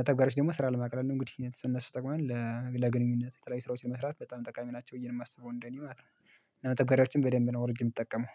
መተጋገሪያዎች ደግሞ ስራ ለመቀላቀል እንግዲህ ለነሱ ይጠቅሙናል ለግንኙነት የተለያዩ ስራዎችን ለመስራት በጣም ጠቃሚ ናቸው ብዬ ነው የማስበው እንደኔ ማለት ነው። መተግበሪያዎችን በደንብ ነው አውርጄ የምትጠቀመው